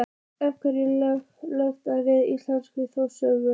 Af hverju lög við íslenskar þjóðsögur?